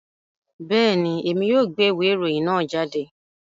Bẹẹni, Èmi yóò gbé ìwé ìròyìn náà jáde